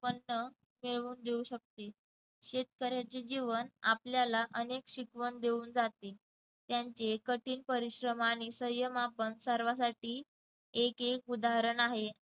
उत्पन्न घेऊन देऊ शकते. शेतकऱ्याचे जीवन आपल्याला अनेक शिकवण देऊन जाते त्यांचे कठीण परिश्रम आणि सय्यम आपण सर्वांसाठी एक एक उदाहरण आहे.